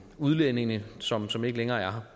udlændinge som som ikke længere er